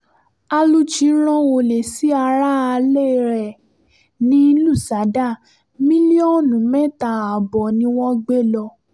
aluchi rán olè sí aráalé ẹ̀ ní lùsádà mílíọ̀nù mẹ́ta ààbọ̀ ni wọ́n gbé lọ